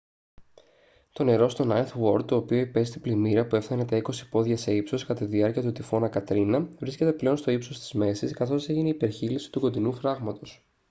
το νερό στο νάινθ γουόρντ το οποίο υπέστη πλημμύρα που έφτανε τα 20 πόδια σε ύψος κατά τη διάρκεια του τυφώνα κατρίνα βρίσκεται πλέον στο ύψος της μέσης καθώς έγινε υπερχείλιση του κοντινού φράγματος